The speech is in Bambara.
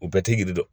U bɛɛ tɛ girin dɛ